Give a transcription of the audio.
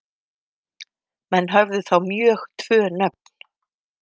Menn höfðu þá mjög tvö nöfn.